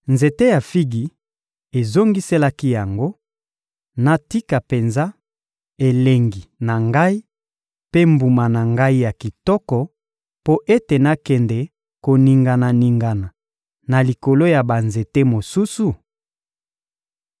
Nzete ya figi ezongiselaki yango: ‹Natika penza elengi na ngai mpe mbuma na ngai ya kitoko mpo ete nakende koningana-ningana na likolo ya banzete mosusu?›